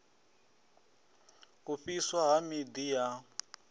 u fhiswa ha miḓi ya